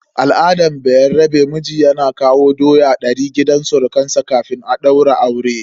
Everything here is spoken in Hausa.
A al'adar bayarabe, miji yana kawo doya ɗari gidan surukansa kafin a daura aure.